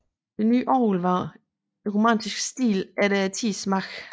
Det nye orgel var i romantisk stil efter tidens smag